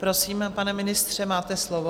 Prosím, pane ministře, máte slovo.